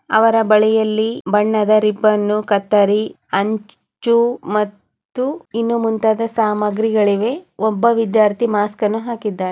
ಅವರ ಬಳಿಯಲ್ಲಿ ಬಣ್ಣದ ರಿಬ್ಬನ್ನು ಕತ್ತರಿ ಹಂಚು ಮತ್ತು ಇನ್ನು ಮುಂತಾದ ಸಾಮಗ್ರಿಗಳಿವೆ. ಒಬ್ಬ ವಿದ್ಯಾರ್ಥಿ ಮಾಸ್ಕ್ ಅನ್ನು ಹಾಕಿದ್ದಾನೆ.